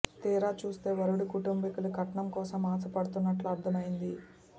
తీరా చూస్తే వరుడి కుటుంబీకులు కట్నం కోసం ఆశ పడుతున్నట్లు అర్థమైంది